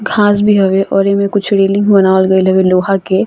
घास भी हवे और इ में कुछ रेलिंग बनावल गेल हवे लोहा के।